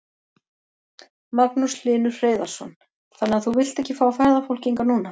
Magnús Hlynur Hreiðarsson: Þannig að þú vilt ekki fá ferðafólk hingað núna?